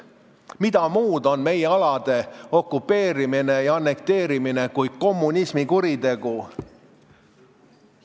Mida muud on meie alade okupeerimine ja annekteerimine kui kommunismi kuritegu!